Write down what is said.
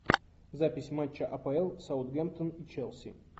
запись матча апл саутгемптон и челси